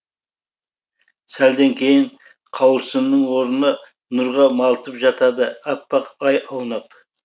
сәлден кейін қауырсынның орнына нұрға малтып жатады әппақ ай аунап